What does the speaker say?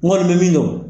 N kɔni bɛ min dɔn